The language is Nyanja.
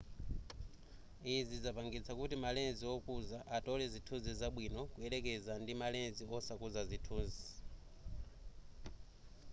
izi zapangitsa kuti ma lens okuza atole zithunzi zabwino kuyelekeza ndi ma lens osakuza zithunzi